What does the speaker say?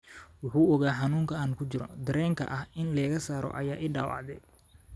“Wuxuu ogaa xanuunka aan ku jiro, dareenka ah in layga saarayo ayaa ii dhaawacday.